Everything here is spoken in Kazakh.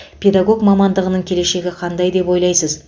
педагог мамандығының келешегі қандай деп ойлайсыз